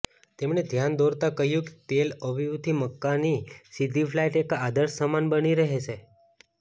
તેમણે ધ્યાન દોરતાં કહ્યું કે તેલ અવીવથી મક્કાની સીધી ફ્લાઈટ એક આદર્શ સમાન બની રહેશે